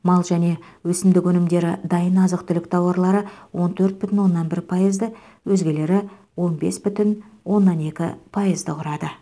мал және өсімдік өнімдері дайын азық түлік тауарлары он төрт бүтін оннан бір пайызды өзгелері он бес бүтін оннан екі пайызды құрады